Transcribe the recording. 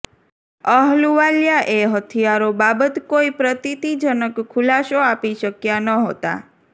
અહલુવાલિયા એ હથિયારો બાબત કોઇ પ્રતીતિજનક ખુલાસો આપી શક્યા નહોતા